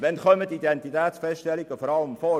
Wann kommen Identitätsfeststellungen vor allem vor?